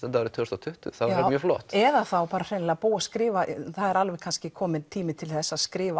tvö þúsund og tuttugu það væri mjög flott eða þá hreinlega skrifa það er kannski kominn tími til þess að skrifa